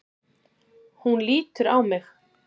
Hún lítur á mig.